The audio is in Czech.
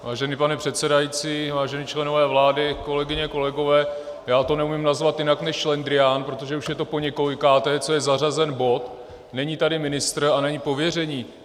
Vážený pane předsedající, vážení členové vlády, kolegyně, kolegové, já to neumím nazvat jinak než šlendrián, protože už je to poněkolikáté, co je zařazen bod, není tady ministr a není pověření.